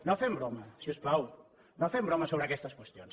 no fem broma si us plau no fem broma sobre aquestes qüestions